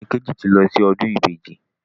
Morẹ́nikéjì ti lọ sí ọdún Ìbejì.